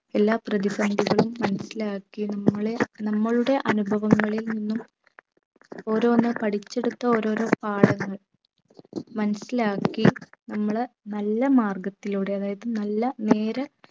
എല്ലാ പ്രതിസന്ധികളും മനസിലാക്കി നമ്മളെ നമ്മളുടെ അനുഭവങ്ങളിൽ നിന്നും ഓരോന്ന് പഠിച്ചെടുത്ത ഓരോരോ പാഠങ്ങൾ മനസിലാക്കി നമ്മളെ നല്ലമാർഗ്ഗത്തിലൂടെ അതായത് നല്ല നേരെ